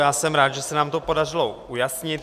Já jsem rád, že se nám to podařilo ujasnit.